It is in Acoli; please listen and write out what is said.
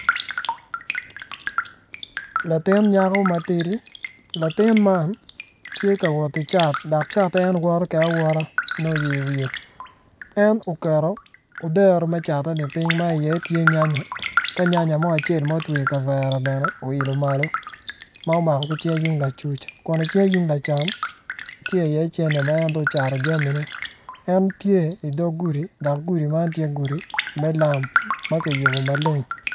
Latin nyako matidi, latin man tye kawot ki cat dok cate en woto kwede awota ma nongo oyeyo iwiye en oketo odero me cateni piny ma i iye tye nyanya ka nyanya mo ma otweyo ikavere bene oilo malo ma omako ki cinge yung lacuc kun icinge yung lacam tye i iye cente ma dong ocato jamine en tye idog gudi dok gudi man tye gudi lam ma kiyubo maleng